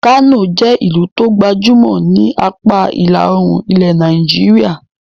Kano jẹ́ ẹ́ ìlú tó gbajúmọ̀ ni apá ìlà-oòrùn ilẹ̀ Nàìjíríà.